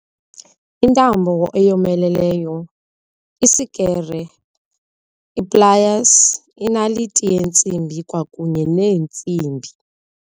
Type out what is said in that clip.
Intambo eyomeleleyo, isikere, iplayasi, inaliti yeentsimbi kwakunye neentsimbi.